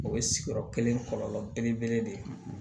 O ye sigiyɔrɔ kelen kɔlɔlɔ belebele de ye